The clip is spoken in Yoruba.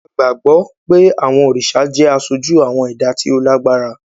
A gbàgbó pe awọn oriṣa jẹ aṣoju awọn ẹda ti o lágbára.